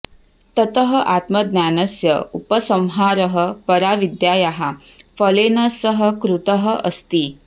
ततः आत्मज्ञानस्य उपसंहारः पराविद्यायाः फलेन सह कृतः अस्ति